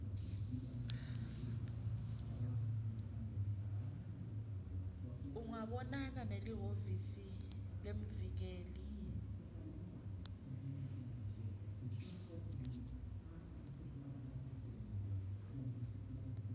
ungabonana nelihhovisi lemvikeli